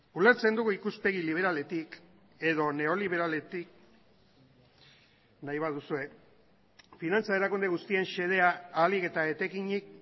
ulertzen dugu ikuspegi liberaletik edo neoliberaletik nahi baduzue finantza erakunde guztien xedea ahalik eta etekinik